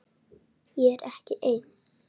Ég er ekki ein.